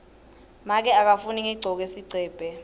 make akafuni ngigcoke sigcebhe